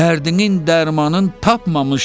Dərdinin dərmanın tapmamış təbib.